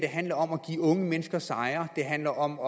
handler om at give unge mennesker sejre det handler om